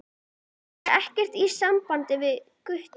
Það er ekkert í sambandi við Gutta.